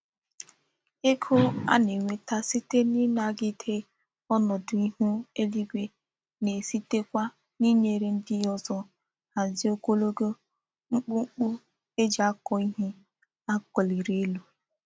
Ego a na-enweta site n'inagide onodu ihu eluigwe na-esite Kwa n'inyere ndi ozo hazie ogologo mkpumkpu e ji ako ihe a koliri elu.